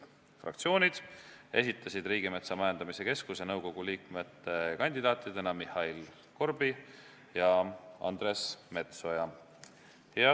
Fraktsioonid esitasid Riigimetsa Majandamise Keskuse nõukogu liikmete kandidaatideks Mihhail Korbi ja Andres Metsoja.